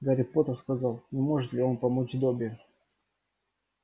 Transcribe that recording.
гарри поттер сказал не может ли он помочь добби